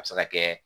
A bɛ se ka kɛ